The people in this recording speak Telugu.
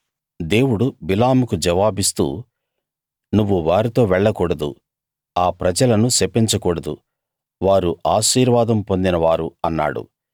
దేవుడు బిలాముకు జవాబిస్తూ నువ్వు వారితో వెళ్లకూడదు ఆ ప్రజలను శపించకూడదు వారు ఆశీర్వాదం పొందిన వారు అన్నాడు